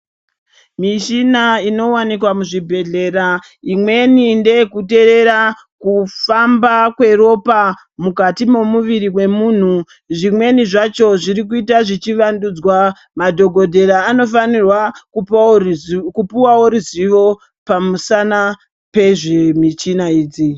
Mishina inowanikwa muzvibhehlera imweni ndeyekuteerera kufamba kweropa mukati momuviri memunhu, zvimweni zvacho zvirikuita zvichivandudzwa madhogodhera anofanirwa kupuwawo ruzivo pamusana pemichina idzi.